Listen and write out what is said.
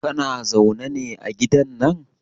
Kana zaune ne a gidan nan?